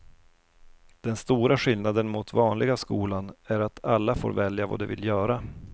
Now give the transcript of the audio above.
Den stora skillnaden mot vanliga skolan är att alla får välja vad de vill göra.